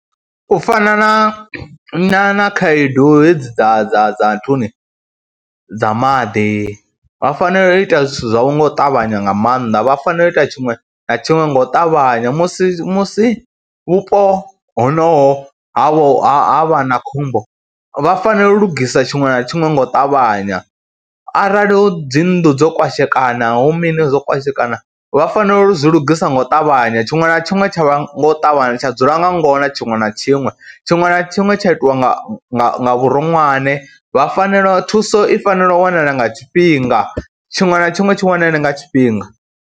U fana na na khaedu hedzi dza dza dza nthuni, dza maḓi, vha fanela u ita zwithu zwavho nga u ṱavhanya nga maanḓa, vha fanela u ita tshiṅwe na tshiṅwe nga u ṱavhanya musi musi vhupo honoho havho ha vha na khombo vha fanela u lugisa tshiṅwe na tshiṅwe ngo u ṱavhanya, arali hu dzi nnḓu dzo kwashekana hu mini dzo kwashekana vha fanela u zwi lugisa ngo ṱavhanya. Tshiṅwe na tshiṅwe tsha vha ngo u ṱavhanya, tsha dzula nga ngona tshiṅwe na tshiṅwe, tshiṅwe na tshiṅwe tsha itwa nga vhuronwane, vha fanela, thuso i fanela u wanala nga tshifhinga tshiṅwe na tshiṅwe tshi wanale nga tshifhinga.